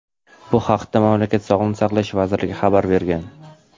Bu haqda mamlakat Sog‘liqni saqlash vazirligi xabar bergan.